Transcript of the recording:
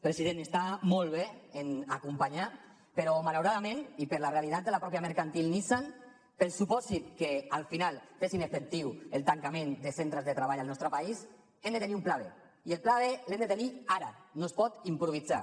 president està molt bé acompanyar però malauradament i per la realitat de la mateixa mercantil nissan pel supòsit que al final fessin efectiu el tancament de centres de treball al nostre país hem de tenir un pla b i el pla b l’hem de tenir ara no es pot improvisar